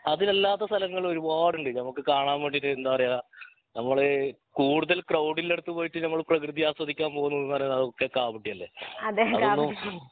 അതിലല്ലാത്ത സ്ഥലങ്ങൾ ഒരുപാട് ഉണ്ട് നമ്മക് കാണാൻ വേണ്ടിട്ട് എന്താ പറയാ നമ്മൾ കൂടുതൽ ക്രൗഡിൻ്റെ അടുത്ത് പോയിട്ട് നമ്മൾ പ്രകൃതി ആസ്വദിക്കാൻ പോകുന്നു എന്ന് പറയുന്നു അതൊക്കെ കാപട്യം അല്ലെ അതൊന്നും